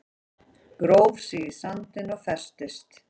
Gróf sig í sandinn og festist